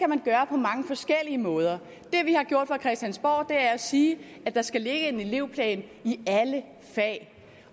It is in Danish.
man gøre på mange forskellige måder det vi har gjort fra christiansborgs side er at sige at der skal ligge en elevplan i alle fag